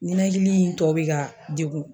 ɲinɛkili in tɔ be ka degun